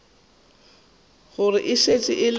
gore e šetše e le